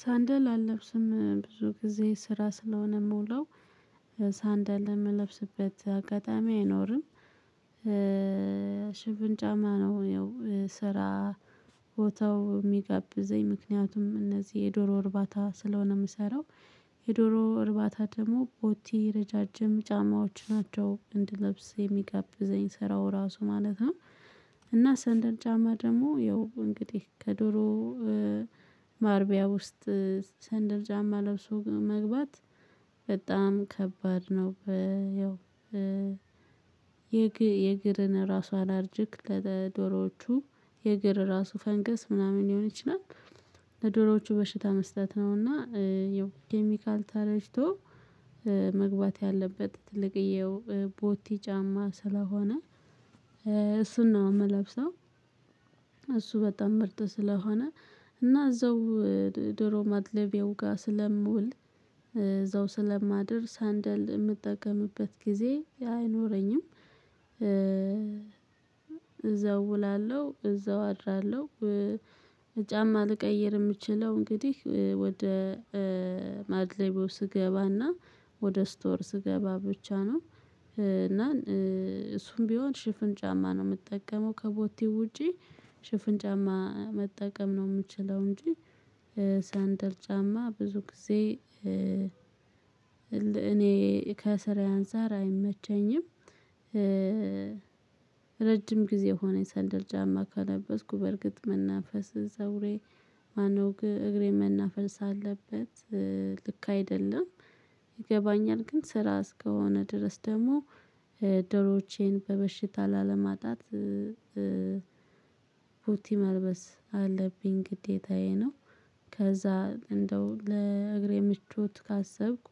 ሳንደል አልለብስም ብዙ ጊዜ ስራ ስለሆነ የምውለው ሳንደል የምለብስበት አጋጣሚ አይኖርም። ሽፍን ጫማ ነው። ይሄው ቦታው የሚጋብዘኝ ምክንያቱም እነዚህ የዶሮ እርባታ ስለሆነ የምሰራው። የዶሮ እርባታ ደግሞ ቦቲ ረዣዥም ጫማዎች ናቸው እንድለብስ የሚጋብዘኝ ስራው ራሱ ማለት ነው። እና ሰንደር ጫማ ደግሞ ያው እንግዲህ ከዶሮ ማርቢያ ውስጥ ሰንደል ጭማ ለብሶ መግባት በጣም ከባድ ነው። ያው የእግርን ራሷን አላርጅክ ለዶላሮቹ የግር ራሱ ፈንገስ ምናምን ሊሆን ይችላል። ለዶሮዎቹ በሽታ መስጠት ነውና። የኦኬሚካል ታላሽቶ መግባት ያለበት ትልቅየው ቦቲ ጫማ ስለሆነ እሱን ነው የምለብሰው። እሱ በጣም ምርጥ ስለሆነ እና እዛው ዶሮ ማድለቤው ጋር ስለምውል እዛው ስለማድር ሳንደል የምጠቀምበት ጊዜ አይኖረኝም። እዛው እውላለሁ እዛው አድራለሁ ጫማ ልቀይር የምችለው እንግዲህ ወደ ማድ ሌቦ ስገባና ወደ ስቶር ስገባ ብቻ ነው። እና እሱም ቢሆን ሽፍን ጫማ ነው የምጠቀመው ከቦቲ ውጪ። ሽፍን ጫማ መጠቀም ነው የምችለው። እንጂ ሳንደር ጫማ ብዙ ጊዜ። እኔ ከስራ አንፃር አይመቸኝም። ረጅም ጊዜ ሆነኝ ሰንደር ጫማ ካለበስኩ በእርግጥ መናፈስ ዘውሬ ማነው እግሬ መናፈስ አለበት። ልክ አይደለም። ይገባኛል ግን ስራ እስከሆነ ድረስ ደግሞ ዶሮቼን በበሽታ ላለማጣት። ፑቲ መልበስ አለብኝ ግዴታዬ ነው። ከዛ እንደው ለእግሬ ምቾት ካሰብኩ